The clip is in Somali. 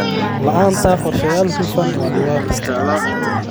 La'aanta qorshayaal hufan waa dhibaato.